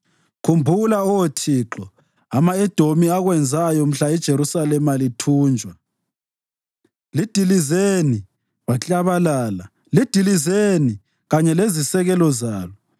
Khumbula, Oh Thixo, ama-Edomi akwenzayo mhla iJerusalema ithunjwa. “Lidilizeni,” baklabalala, “lidilizeni kanye lezisekelo zalo!”